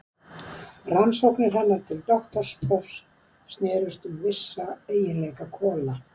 Rannsóknir hennar til doktorsprófs snerust um vissa eiginleika kola.